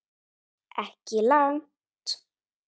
Ekki langt.